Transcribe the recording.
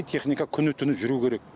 техника күні түні жүру керек